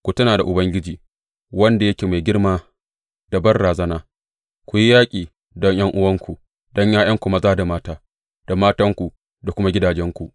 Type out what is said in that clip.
Ku tuna da Ubangiji, wanda yake mai girma da banrazana, ku yi yaƙi don ’yan’uwanku, da ’ya’yanku maza da mata, da matanku da kuma gidajenku.